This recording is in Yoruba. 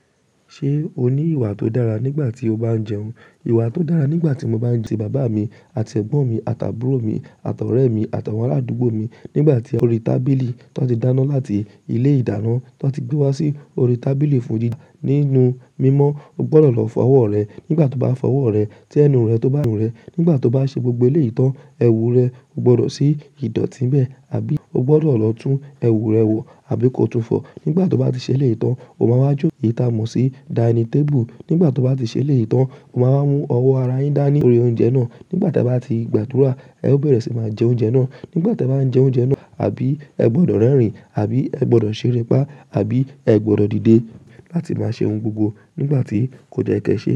Ṣé o ní ìwà tó dára nígbà tí o bá ń jẹun? Ìwà tó dára nígbà tí mo bá ń ti bàbá mi àti ẹ̀gbọ́n mi àti àbúrò mi àtọrẹ mi àti àwọn arádúgbò mi. Nígbà tí a orí tábìlì tó ti dáná láti ilé ìdáná tó ti gbé wá sí orí tábìlì fún jíje nínú mímọ́. O gbọdọ̀ lọ fọ ọwọ́ rẹ. Nígbà to bá fọ ọwọ́ rẹ, tí ẹnu rẹ tó bá nu rẹ. Nígbà to bá ṣe gbogbo eleyi tan, ẹwù rẹ jo gbọdọ̀ sí ìdọ̀tí n bẹ́ẹ̀ àbí o gbọdọ̀ lọ tún ẹwù rẹ wò àbí ko tún fọ. Nígbà tí o bá ti ṣe eleyi tan, o máa wá jó, eyi ta mọ́ sí dining table. Nígbà tí o bá ti ṣe eleyi tan, o máa wá mú ọwọ́ ara yín dání lorí oúnjẹ náà. Nígbà tí ẹ bá ti gbàdúrà, ẹ ó bẹ̀rẹ̀ sí máa jẹ oúnjẹ náà. Nígbà tí ẹ bá ń jẹ oúnjẹ náà àbí ẹ gbọdọ̀ rẹ́rìn-ín, àbí ẹ gbọdọ̀ ṣeré pá àbí ẹ gbọdọ̀ dìde láti máa ṣe ohun gbogbo nígbà tí kò de ye kẹ ṣe.